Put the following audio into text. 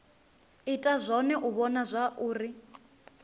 ita zwone u vhona zwauri